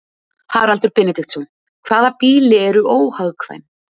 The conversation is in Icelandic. Haraldur Benediktsson: Hvaða býli eru óhagkvæm?